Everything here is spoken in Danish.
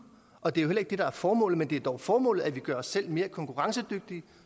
og det er heller ikke det der er formålet men det er dog formålet at vi gør os selv mere konkurrencedygtige